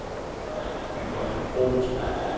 Yvonne Groth